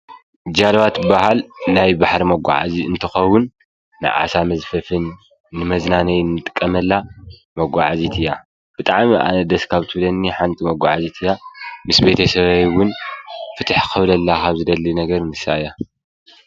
ጃልባ ትበሃል ናይ ባሕሪ መጓዓዝያ እንትከውን ናይ ዓሳ መዝፈፍን ንመዝናነይ ንጥቀመላ መጓዓዚት እያ። ብጣዓሚ ኣነ ደስ ካብ ትብለኒ ሓንቲ መጓዓዚት እያ ።ምስ ቤተሰበይ እውን ፍትሕ ክብለላ ካብ ዝደል ነገር ንሳ እያ።